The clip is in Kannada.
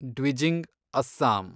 ಡ್ವಿಜಿಂಗ್ , ಅಸ್ಸಾಂ